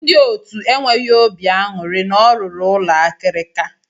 Ndị otu enweghị obi aṅụrị na ọ rụrụ ụlọ akirika.